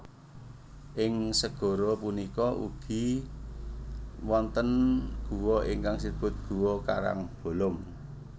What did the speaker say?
Ing segara punika ugi wonten guwa ingkang sinebut guwa karangbolong